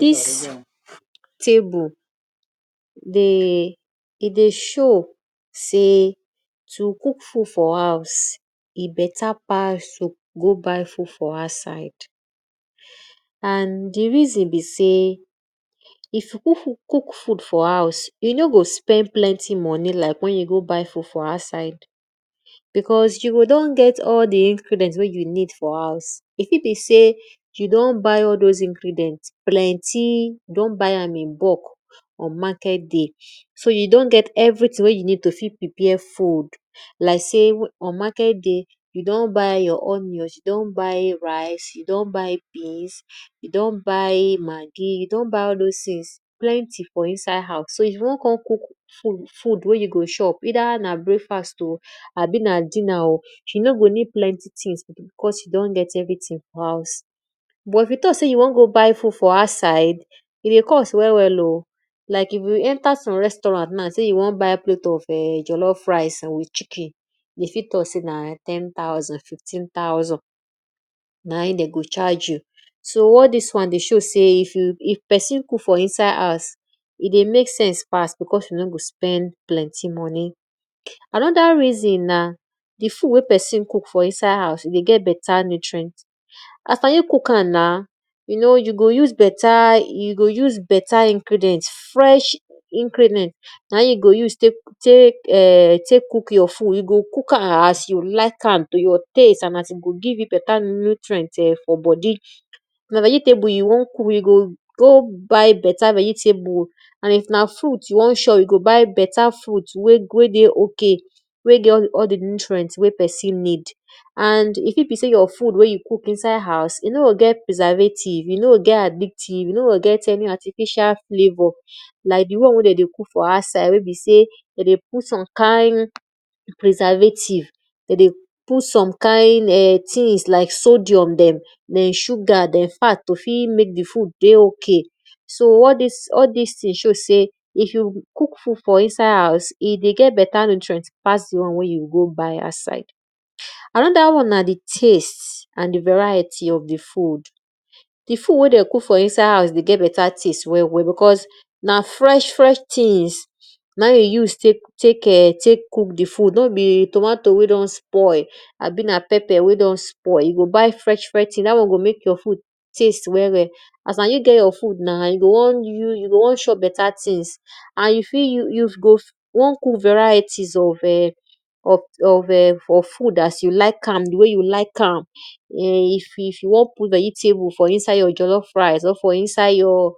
Dis table e dey show sey to cook food for house e dey beta pass to go buy food for outside. And di reason be sey, if you cook food for house, e no go spend planty moni like wen you go buy food for outside because you go don get all di ingredient wey you need for house. E fit be sey you don buy those ingredient plenty, don buy am inbulk on market day, so you do get everything wey you need to fit prepare food. For market day, you don buy your onions, you don buy maggi, you don buy rice, you don buy beans, you don buy all those things plenty for inside house so if you won kon cook wey you go chop either na breakfast o abi na dinner o, you no go need plenty things because you don get everything for house. But if you talk sey you won go buy food for outside e dey cost well well o like if you enter some restaurant now sey you won buy a plate of jellof ricw with chicken de fit talk sey na tn thousand, fifteen thousand, so all dis wan dey show sey if pesin cook for inside house e dey mek sense pass because you no go spend plenty moni. Anoda reson na di food wey pesin cook for inside house dey get nutrient as na you cook am na, you go use beta ingredient fresh ingredient na in you go use tek cook your food, you go cook am as you like am to your taste and e go give you beta nutrient for bodi. If na vegetable you won cook, you go go buy beta vegetable and if na fruit you won chop, you go go buy beta frit wey dey ok wey dey all di nutrient wey pesin need and e fit be sey di food wen you cook inside house e no go get preservative, e no go get artificial flavor like di won wey de dey cook for outside wey be sey de dey put some kind preservative de dey put some kind thinfgs like sodium dem to fit mek di food to dey hok so all dis thing show sey if you cook food for inside house, e dey get beta nutrient pass di won wey you dey go buy outside.anoda won na di things and di variety of di food,. Di food wey dey cook for inside house dey get beta taste well well because na fresh fresh things na e use tek cook di food nor be tomato wey don spoil abi na peper wey don spoil, you go buy fresh fresh thing wey go mek your food teast well well as na you get your food na, you go wan ge mek your food taste well well. As na you get you food na you go won chop beta things and you fit use good won cook varieties of[um]of[um]for food as you like am di way you like am[um]if you wn cook vegetable for inside your jollof rice for inside your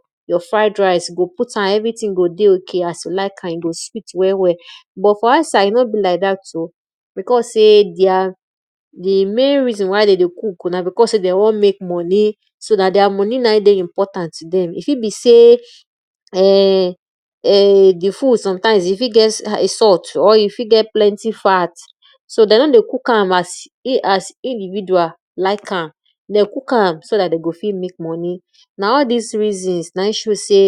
fried rice you go put am everything go dey ok as you like am e go sweet well well. But for outside e no be lik dat o because di main reason why de go cook because sey de won mek moni so na their moni na in dey important o e ft be sey sometime di food e fit get salt or e fit get plenty fat so de nor dey cook as individual like am, de cook am so dat de go fit mek moni na all dis reason na in show sey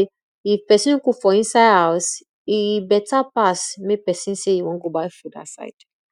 if pesin cvook for inside house, e beta pass sey mek pesin sey e won go buy food outside.